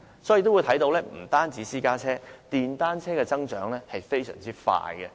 所以，不單是私家車，其實電單車的數目也增長得非常快。